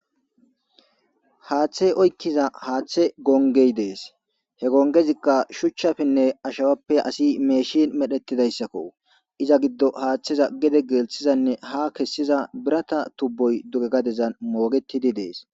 Haaththey oykkiza haaththe gongey dees he gongezikka shuchchafinne ashawappe asi meeshin medhettidayssakko iza giddo haaththeza gede geelthizanne ha kessiza birata tubboy duge gadezan moogetidi dees.